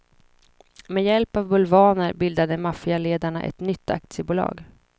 Med hjälp av bulvaner bildade maffialedarna ett nytt aktiebolag.